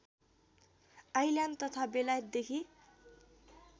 island तथा बेलायतदेखि